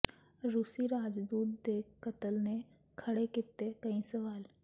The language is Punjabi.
ਰੂਸੀ ਰਾਜਦੂਤ ਦੇ ਕਤਲ ਨੇ ਖੜ੍ਹੇ ਕੀਤੇ ਕਈ ਸਵਾਲ